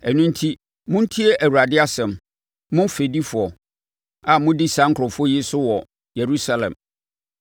Ɛno enti, montie Awurade asɛm, mo fɛdifoɔ a modi saa nkurɔfoɔ yi so wɔ Yerusalem.